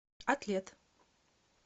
атлет